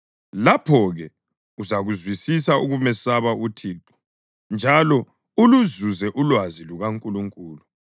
lapho-ke uzakuzwisisa ukumesaba uThixo njalo uluzuze ulwazi lukaNkulunkulu.